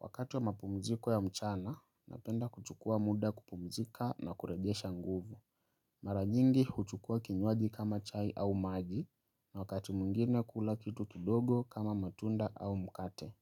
Wakati wa mapumziko ya mchana, napenda kuchukua muda kupumzika na kuregesha nguvu. Maranyingi huchukua kinyoaji kama chai au maji, na wakati mungine kula kitu kidogo kama matunda au mkate.